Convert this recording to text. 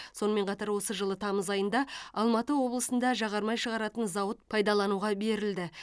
сонымен қатар осы жылы тамыз айында алматы облысында жағармай шығаратын зауыт пайдалануға берілді